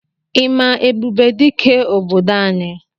Ị ma Ebubedike obodo anyị?